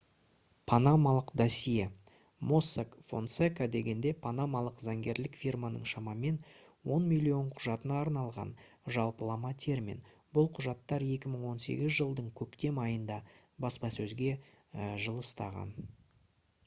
«панамалық досье» mossack fonseca дегене панамалық заңгерлік фирманың шамамен он миллион құжатына арналған жалпылама термин. бұл құжаттар 2018 жылдың көктем айында баспасөзге жылыстаған